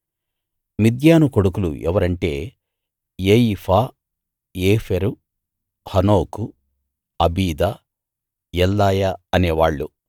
మిద్యాను కొడుకులు ఎవరంటే Ephah Epher Hanoch Abida Eldaah అనేవాళ్ళు